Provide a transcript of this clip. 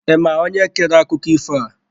Ị ma onye kere akụkọ ifo a?